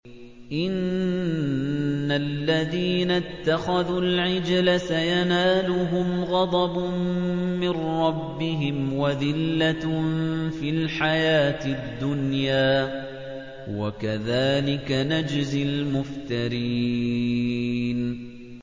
إِنَّ الَّذِينَ اتَّخَذُوا الْعِجْلَ سَيَنَالُهُمْ غَضَبٌ مِّن رَّبِّهِمْ وَذِلَّةٌ فِي الْحَيَاةِ الدُّنْيَا ۚ وَكَذَٰلِكَ نَجْزِي الْمُفْتَرِينَ